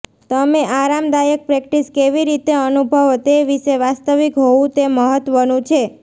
તમે આરામદાયક પ્રેક્ટીસ કેવી રીતે અનુભવો તે વિશે વાસ્તવિક હોવું તે મહત્વનું છે